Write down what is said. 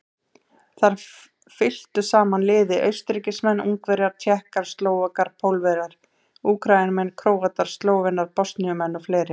Þar fylktu saman liði Austurríkismenn, Ungverjar, Tékkar, Slóvakar, Pólverjar, Úkraínumenn, Króatar, Slóvenar, Bosníumenn og fleiri.